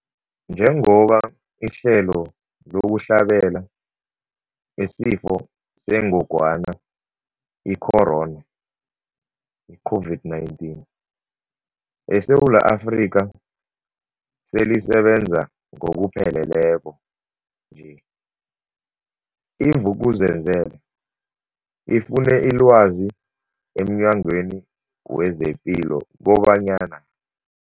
Njengoba ihlelo lokuhlabela isiFo sengogwana i-Corona, i-COVID-19, eSewula Afrika selisebenza ngokupheleleko nje, i-Vuk'uzenzele ifune ilwazi emNyangweni wezePilo kobanyana.